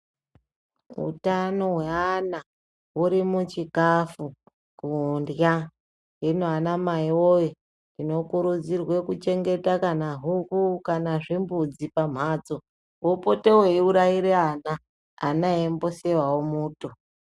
Hutano hweana, huri muchikafu ,kudya. Zvino ana mai woyee! tinokurudzirwe kuchengeta kana huku, kana zvimbudzi pamhatso ,opote eyiurayire ana. Ana eyimboseva muto.